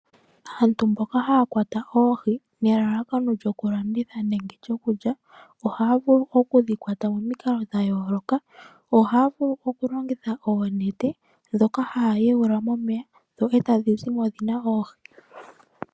Aantu mboka haya kwata oohi nelalakano lyokulanditha nenge lyokulya , ohaya vulu okudhikwata momikalo dhayoolokathana , ohaya longitha oonete ndhoka haayuula momeya, dho etadhi zimo dhina oohi.